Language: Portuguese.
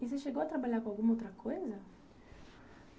E você chegou a trabalhar com alguma outra coisa?